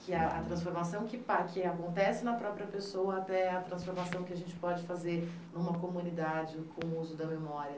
Que é a transformação que par que acontece na própria pessoa, até a transformação que a gente pode fazer em uma comunidade com o uso da memória.